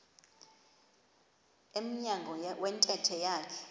emnyango wentente yakhe